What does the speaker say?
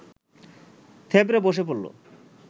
থেবড়ে বসে পড়ল